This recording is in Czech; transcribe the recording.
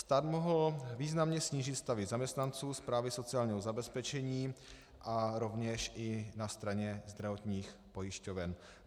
Stát mohl významně snížit stavy zaměstnanců správy sociálního zabezpečení a rovněž i na straně zdravotních pojišťoven.